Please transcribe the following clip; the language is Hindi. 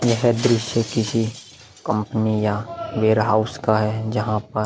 यह दृश्य किसी कंपनी या वेयरहाउस का है जहाँ पर --